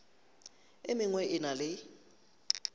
e mengwe e na le